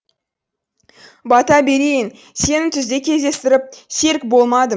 бата берейін сені түзде кездестіріп серік болмады